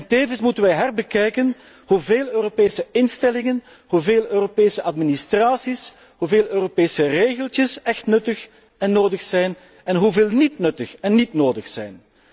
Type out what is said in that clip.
Tevens moeten wij herbekijken hoeveel Europese instellingen, hoeveel Europese administraties en Europese regeltjes echt nuttig en nodig zijn en hoeveel er niet nuttig of nodig zijn.